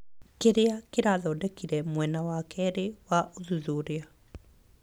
Kĩrĩa kĩrathondekire mwena wa keerĩ wa ũthuthuria.